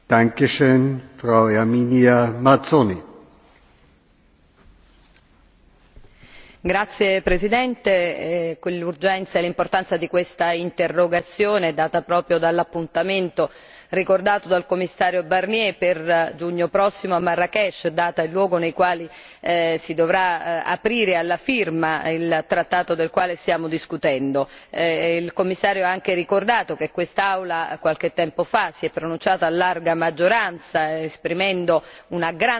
Signor Presidente, onorevoli colleghi, vorrei sottolineare l'urgenza e l'importanza di questa interrogazione, data proprio dall'appuntamento ricordato dal Commissario Barnier per giugno prossimo a Marrakech data e luogo nei quali si dovrà procedere alla firma del trattato del quale stiamo discutendo. Il Commissario ha anche ricordato che quest'Aula qualche tempo fa si è pronunciata a larga maggioranza esprimendo una grande sensibilità e una